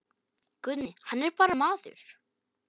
Guðni hann er bara maður.